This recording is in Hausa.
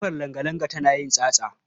Ƙofar langalanga tan yin tsatsa.